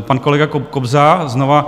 Pan kolega Kobza, znova